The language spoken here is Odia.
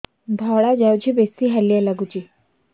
ଧଳା ଯାଉଛି ବେଶି ହାଲିଆ ଲାଗୁଚି